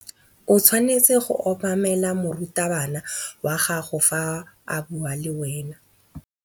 O tshwanetse go obamela morutabana wa gago fa a bua le wena.